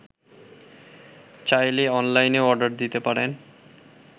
চাইলে অনলাইনেও অর্ডার দিতে পারেন